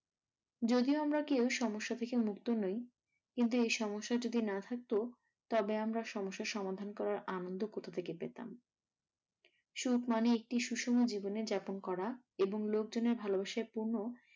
যদিও আমরা কেউ সমস্যা থেকে মুক্ত নই কিন্তু এ সমস্যা যদি না থাকতো তবে আমরা সমস্যা সমাধান করার আনন্দ কথা থেকে পেতাম? সুখ মানে একটু সুষম জীবনযাপন করা। এবং লোকজনের ভালোবাসায় পূর্ণ